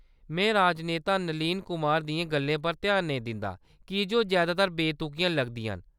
में राजनेता नलीन कुमार दियें गल्लें पर ध्यान नेईं दिंदा की जे ओह्‌‌ जैदातर बेतुकियां लगदियां न।